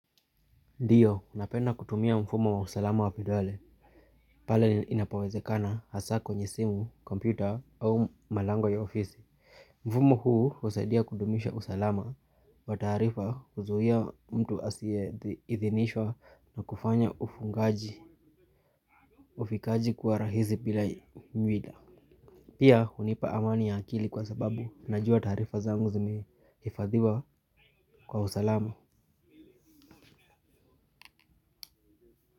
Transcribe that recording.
Ndiyo, napenda kutumia mfumo wa usalama wa vidole, pale inapowezekana hasaa kwenye simu, kompyuta au malango ya ofisi. Mfumo huu husaidia kudumisha usalama wa taarifa kuzuia mtu asiyeidhinishwa na kufanya ufungaji ufikaji kuwa rahisi bila mwila. Pia, hunipa amani ya akili kwa sababu najua taarifa zangu zimehifadhiwa kwa usalama.